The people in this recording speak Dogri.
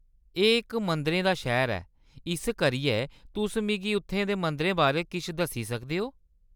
एह्‌‌ इक मंदिरें दा शैह्ऱ ऐ। इस करियै तुस मिगी उत्थै दे मंदरें बारै किश दस्सी सकदे ओ ?